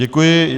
Děkuji.